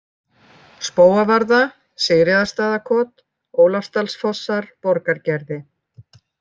Spóavarða, Sigríðarstaðakot, Ólafsdalsfossar, Borgargerði